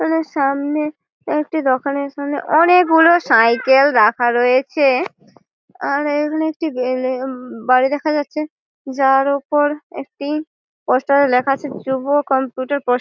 আমাদের সামনে-এ একটি দোকানের সামনে অনেকে গুলো সাইকেল রাখা রয়েছে । আর এখানে একটি বিল্ডি উম উম বাড়ি দেখা যাচ্ছে যার উপর একটি স্পষ্ট ভাবে লেখা আছে যুব কম্পিউটার প্রশি--